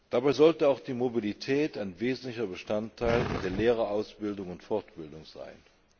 Dabei sollte auch die Mobilität ein wesentlicher Bestandteil der Lehrerausbildung und fortbildung sein.